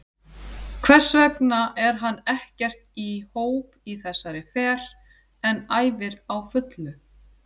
Hversvegna er hann ekkert í hóp í þessari fer en æfir á fullu?